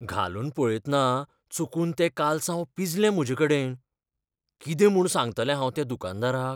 घालून पळयतना चुकून तें कालसांव पिंजलें म्हजेकडेन. कितें म्हूण सांगतलें हांव त्या दुकानदाराक?